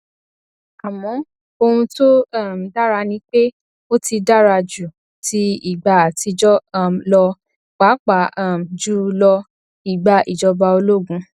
àmọ ohun tó um dára ni pé ó ti dára ju ti ìgbà àtijọ um lọ pàápàá um jù lọ ìgbà ìjọba ológun